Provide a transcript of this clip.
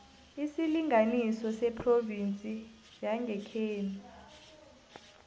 isilinganiso sephrovinsi yangekhenu